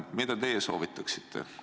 Mida teie soovitaksite?